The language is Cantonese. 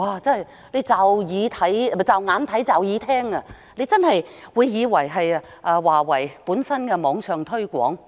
驟眼看來，讀者真的會以為這是華為的網上推廣。